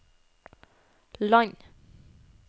land